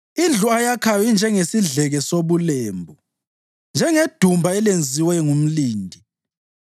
Indlu ayakhayo injengesidleke sobulembu, njengedumba elenziwe ngumlindi.